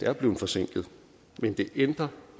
er blevet forsinket men det ændrer